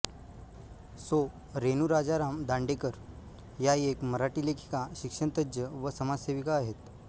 सौ रेणू राजाराम दांडेकर या एक मराठी लेखिका शिक्षणतज्ज्ञ व समाजसेविका आहेत